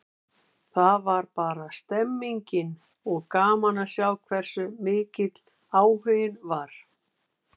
Það var bara stemmning, og gaman að sjá hversu mikill áhuginn var.